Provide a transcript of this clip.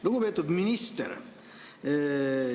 Lugupeetud minister!